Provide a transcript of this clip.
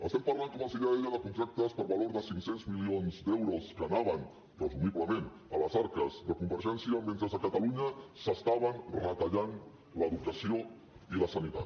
estem parlant com els deia de contractes per valor de cinc cents milions d’euros que anaven presumiblement a les arques de convergència mentre a catalunya s’estaven retallant l’educació i la sanitat